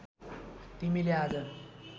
तिमीले आज